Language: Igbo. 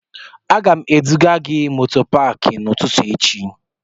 Aga m eduga gị moto paakị n'ụtụtụ echi